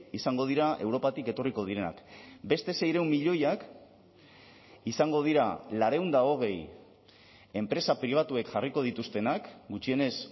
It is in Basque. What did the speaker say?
izango dira europatik etorriko direnak beste seiehun milioiak izango dira laurehun eta hogei enpresa pribatuek jarriko dituztenak gutxienez